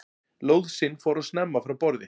Lóðsinn fór of snemma frá borði